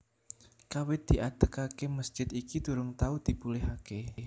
Kawit diadegaké mesjid iki durung tau dipulihaké